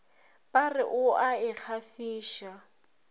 ba re o a ikgafiša